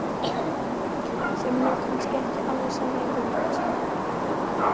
Sem er nú kannski ekki alveg sannleikanum samkvæmt.